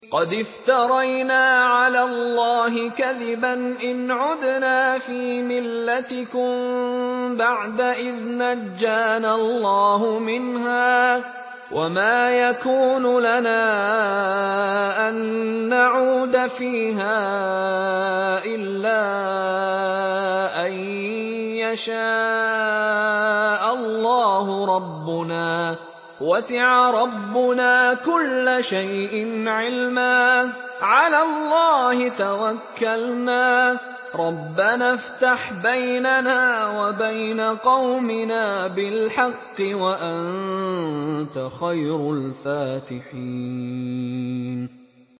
قَدِ افْتَرَيْنَا عَلَى اللَّهِ كَذِبًا إِنْ عُدْنَا فِي مِلَّتِكُم بَعْدَ إِذْ نَجَّانَا اللَّهُ مِنْهَا ۚ وَمَا يَكُونُ لَنَا أَن نَّعُودَ فِيهَا إِلَّا أَن يَشَاءَ اللَّهُ رَبُّنَا ۚ وَسِعَ رَبُّنَا كُلَّ شَيْءٍ عِلْمًا ۚ عَلَى اللَّهِ تَوَكَّلْنَا ۚ رَبَّنَا افْتَحْ بَيْنَنَا وَبَيْنَ قَوْمِنَا بِالْحَقِّ وَأَنتَ خَيْرُ الْفَاتِحِينَ